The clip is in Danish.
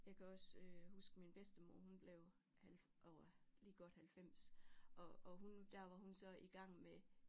Jeg kan også øh huske min bedstemor hun blev halv over lige godt 90 og og hun der var hun så i gang med